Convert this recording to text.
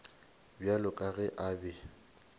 bjalo ka ge a be